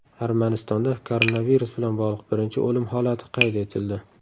Armanistonda koronavirus bilan bog‘liq birinchi o‘lim holati qayd etildi.